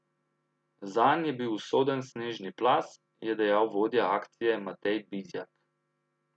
Zanj je bil usoden snežni plaz, je dejal vodja akcije Matej Bizjak.